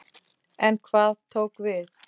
En hvað tók við?